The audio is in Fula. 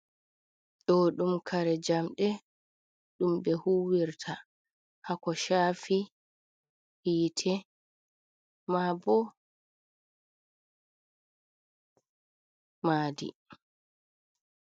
Ɗo ɗum kare jamɗe ɗum ɓe huwirta haa ko shafi hiite, maa bo maadi.